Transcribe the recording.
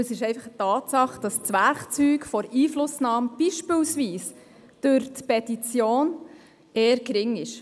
Es ist eine Tatsache, dass die Möglichkeit der Einflussnahme beispielsweise durch eine Petition eher gering ist.